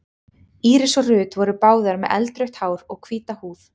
Íris og Ruth voru báðar með eldrautt hár og hvíta húð.